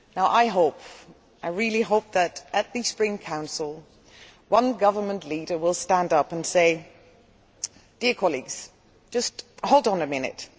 I really hope that, at the Spring Council, one government leader will stand up and say Dear colleagues, just hold on a minute.